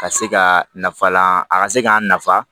Ka se ka nafalan a ka se k'an nafa